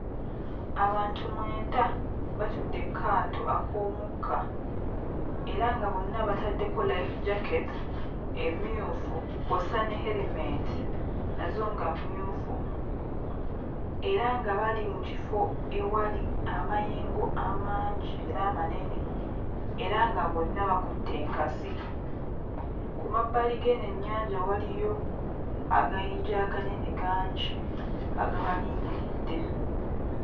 Abantu mwenda batudde ku kaato ak'omukka era nga bonna bataddeko life jacket emmyufu kw'ossa ne erementi nazo nga mmyufu era nga bali mu kifo ewali amayengo amangi era amanene era nga bonna bakutte enkasi. Ku mabbali g'eno ennyanja waliyo agayinja aganene gangi agabalindiridde.